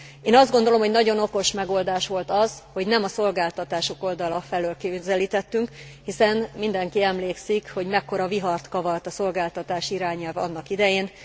Én azt gondolom, hogy nagyon okos megoldás volt az, hogy nem a szolgáltatások oldala felől közelítettünk, hiszen mindenki emlékszik, hogy mekkora vihart kavart a szolgáltatás irányelv annak idején.